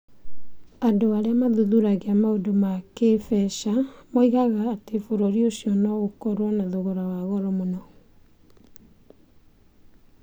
Andũ arĩa mathuthuragia maũndũ ma kĩĩmbeca moigaga atĩ bũrũri ũcio no ũkorũo na thogora wa goro mũno.